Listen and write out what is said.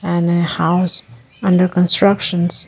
An a house under constructions --